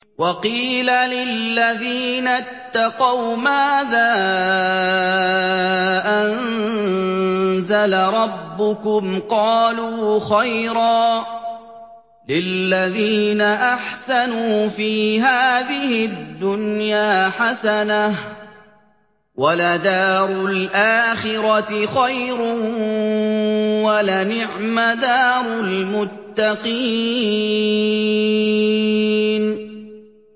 ۞ وَقِيلَ لِلَّذِينَ اتَّقَوْا مَاذَا أَنزَلَ رَبُّكُمْ ۚ قَالُوا خَيْرًا ۗ لِّلَّذِينَ أَحْسَنُوا فِي هَٰذِهِ الدُّنْيَا حَسَنَةٌ ۚ وَلَدَارُ الْآخِرَةِ خَيْرٌ ۚ وَلَنِعْمَ دَارُ الْمُتَّقِينَ